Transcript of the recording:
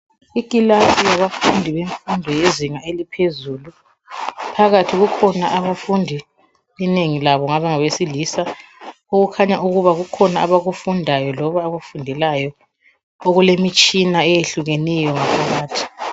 Ikilasi yabafunda bemfundo yezinga eliphezulu, phakathi kukhona abafundi inengi labo ngabesilisa okukhanya ukuba kukhona abakufundayo loba abakufundelayo ,okulemitshina eyehlukeneyo phakathi.